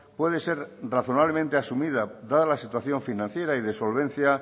puede ser razonablemente asumida dada la situación financiera y de solvencia